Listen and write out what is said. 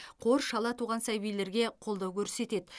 қор шала туған сәбилерге қолдау көрсетеді